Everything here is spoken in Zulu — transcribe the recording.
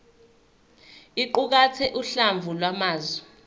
iqukathe uhlamvu lwamazwi